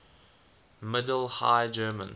middle high german